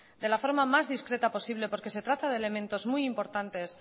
de la forma más discreta posible porque se trata de elementos muy importantes